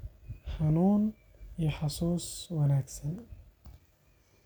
– xanuun iyo xasuus wanaagsan.